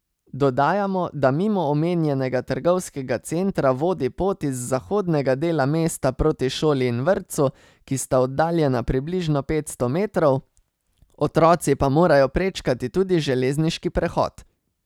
Dodajamo, da mimo omenjenega trgovskega centra vodi pot iz zahodnega dela mesta proti šoli in vrtcu, ki sta oddaljena približno petsto metrov, otroci pa morajo prečkati tudi železniški prehod.